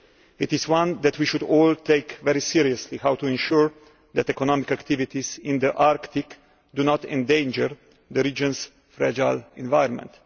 It is one that we should all take very seriously how to ensure that economic activities in the Arctic do not endanger the region's fragile environment.